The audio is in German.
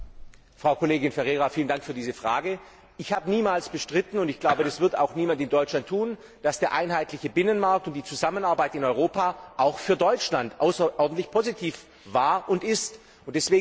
Herr Präsident, Frau Kollegin Ferreira! Ich habe niemals bestritten und ich glaube, das wird auch niemand in Deutschland tun dass der einheitliche Binnenmarkt und die Zusammenarbeit in Europa auch für Deutschland außerordentlich positiv waren und sind.